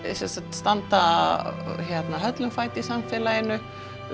standa höllum fæti í samfélaginu